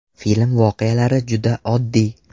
Film voqealari juda oddiy.